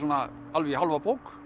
alveg í hálfa bók